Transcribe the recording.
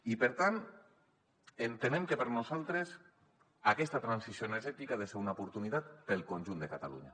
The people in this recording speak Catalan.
i per tant entenem que per nosaltres aquesta transició energètica ha de ser una oportunitat per al conjunt de catalunya